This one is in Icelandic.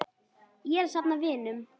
Ég er að safna vinum.